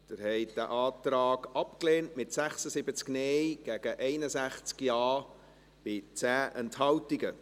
Sie haben diesen Antrag abgelehnt, mit 76 Nein- gegen 61 Ja-Stimmen bei 10 Enthaltungen.